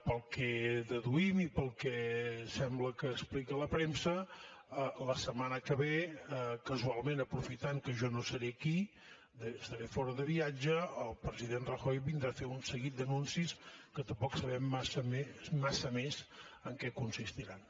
pel que deduïm i pel que sembla que explica la premsa la setmana que ve casualment aprofitant que jo no seré aquí estaré fora de viatge el president rajoy vindrà a fer un seguit d’anuncis que tampoc sabem massa més en què consistiran